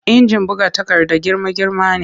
Injin buga takarda girma-girma ne